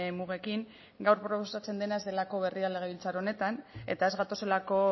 mugekin gaur proposatzen dena ez delako berria legebiltzar honetan eta ez gatozelako